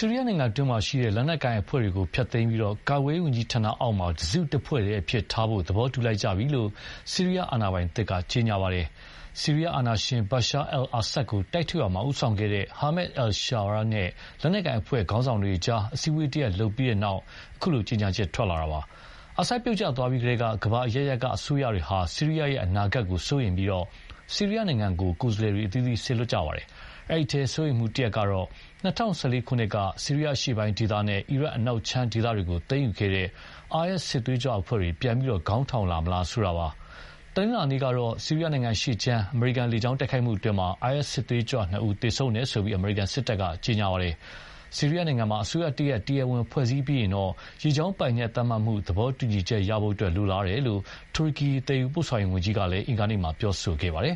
ီးရီးယားနိုင်ငံတွင်းက လက်နက်ကိုင်အဖွဲ့တွေကို ဖျက်သိမ်းပြီး၊ ကာကွယ်ရေးဝန်ကြီးဌာနမှာ တစုတဖွဲ့တည်းအဖြစ်ထားဖို့ သဘောတူလိုက်ကြပြီလို့ ဆီးရီးယား အာဏာပိုင်သစ်က ကြေညာပါတယ်။ ဆီးရီးယားအာဏာရှင် Bashar al-Assad ကို တိုက်ထုတ်ရာမှာ ဦးဆောင်ခဲ့တဲ့ Ahmad al-Sharaa နဲ့ လက်နက်ကိုင်အဖွဲ့ ခေါင်းဆောင်တွေအကြား အစည်းအဝေးတရပ်လုပ်ပြီးတဲ့နောက် အခုလို ကြေညာချက် ထွက်လာတာပါ။ အာဆပ်ပြုတ်ကျသွားပြီးကတည်းက ကမ္ဘာအရပ်ရပ်က အစိုးရတွေဟာ ဆီးရီးယားအနာဂတ်ကို စိုးရိမ်ပြီး ဆီးရီးယားနိုင်ငံကို ကိုယ်စားလှယ်တွေ စေလွှတ်နေကြပါတယ်။ အဲဒီထဲ စိုးရိမ်မှုတခုကတော့ ၂၀၁၄ ခုနှစ်က ဆီးရီးယားအရှေ့ပိုင်းဒေသနဲ့ အီရတ်နောက်ခြမ်းဒေသတွေကို သိမ်းယူခဲ့တဲ့ IS စစ်သွေးကြွအဖွဲ့တွေ ပြန်ပြီးခေါင်းထောင်လာမလားဆိုတာပါ။ တနင်္လာနေ့ကတော့ ဆီးရီးယားနိုင်ငံ အရှေ့ခြမ်း အမေရိကန်လေကြောင်းတိုက်ခိုက်မှုအတွင်း IS စစ်သွေးကြွနှစ်ဦး သေဆုံးတယ်လို့ အမေရိကန်စစ်တပ်က ပြောပါတယ်။ ဆီးရီးယားနိုင်ငံမှာ အစိုးရတရပ် တရားဝင်ဖွဲ့စည်းပြီးရင် ရေကြောင်းပိုင်နက် သတ်မှတ်မှု သဘောတူညီချက်ရဖို့ လိုလားတယ်လို့ တူရကီ သယ်ယူပို့ဆောင်ရေးဝန်ကြီးက အင်္ဂါနေ့မှာ ပြောပါတယ်